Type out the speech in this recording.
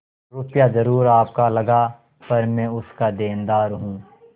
रुपया जरुर आपका लगा पर मैं उसका देनदार हूँ